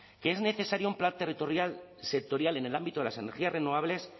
que es necesario un plan territorial sectorial en el ámbito de las energías renovables